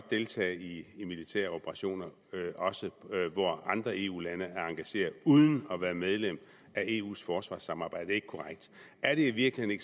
deltage i militære operationer også hvor andre eu lande er engageret uden at være medlem af eus forsvarssamarbejde ikke korrekt er det i virkeligheden